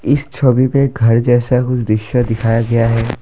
इस छवि पे घर जैसा कुछ दृश्य दिखाया गया है ।